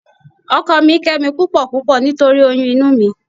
Ọkọ mi ń kẹ́ mi púpọ̀púpọ̀ nítorí oyún inú mi